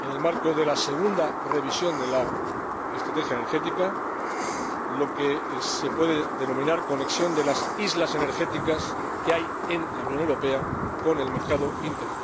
en el marco de la segunda revisión de la estrategia energética, lo que se puede denominar conexión de las islas energéticas que hay en la Unión Europea con el mercado interior.